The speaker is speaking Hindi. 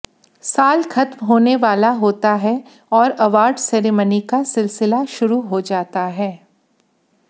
साल खत्म होने वाला होता है और अवार्ड सेरेमनी का सिलसिला शुरु हो जाता है